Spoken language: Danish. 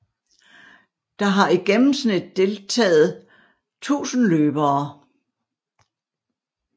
Der har i gennemsnit deltager 1000 løbere